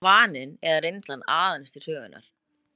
Þar komi vaninn eða reynslan aðeins til sögunnar.